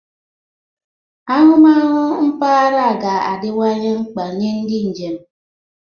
Ahụmahụ mpaghara ga-adịwanye mkpa nye ndị njem.